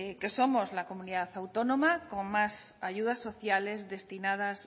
que somos la comunidad autónoma con más ayudas sociales destinadas